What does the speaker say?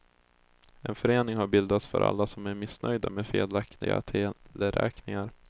En förening har bildats för alla som är missnöjda med felaktiga teleräkningar.